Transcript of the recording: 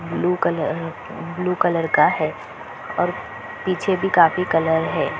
Blue colour uh uh blue colour का है और पीछे भी काफी कलर हैं।